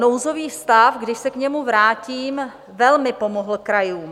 Nouzový stav, když se k němu vrátím, velmi pomohl krajům.